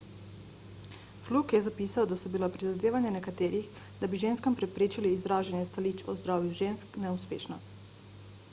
fluke je zapisal da so bila prizadevanja nekaterih da bi ženskam preprečili izražanje stališč o zdravju žensk neuspešna